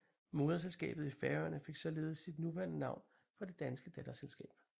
Moderselskabet i Færøerne fik således sit nuværende navn fra det danske datterselskab